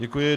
Děkuji.